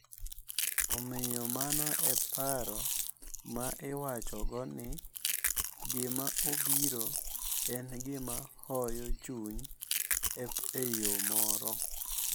Omiyo mano e paro ma iwachogo ni gima obiro en gima hoyo chuny e yo moro.